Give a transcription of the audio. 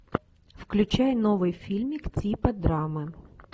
включай новый фильмик типа драмы